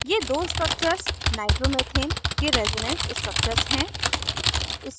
ये दो structures nitromethane के resonance structures हैं